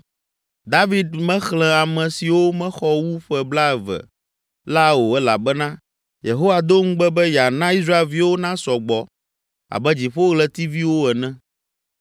David mexlẽ ame siwo mexɔ wu ƒe blaeve la o elabena Yehowa do ŋugbe be yeana Israelviwo nasɔ gbɔ abe dziƒoɣletiviwo ene.